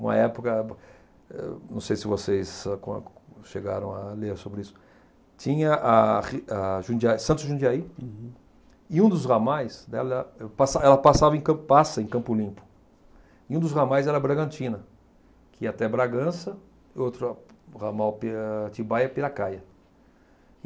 Uma época, eh não sei se vocês âh com chegaram a ler sobre isso, tinha a Ri a Jundia Santos Jundiaí. Uhum. E um dos ramais, dela eu pas ela passava em Campo passa em Campo Limpo, e um dos ramais era Bragantina, que ia até Bragança, e outro ramal, Atibaia-Piracaia.